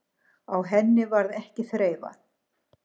Á henni varð ekki þreifað.